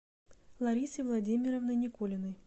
ларисой владимировной никулиной